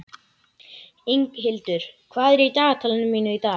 Inghildur, hvað er í dagatalinu mínu í dag?